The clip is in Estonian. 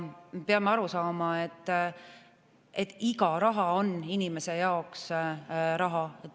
Me peame aru saama, et iga euro on inimese jaoks raha.